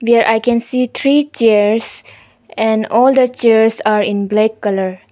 There I can see three chairs and all the chairs are in black colour.